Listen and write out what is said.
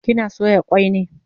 Kina soya kwai ne?